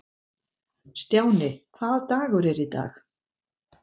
Stjáni, hvaða dagur er í dag?